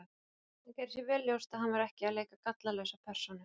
Hann gerði sér vel ljóst að hann var ekki að leika gallalausa persónu.